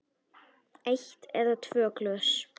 Eitt eða tvö glös.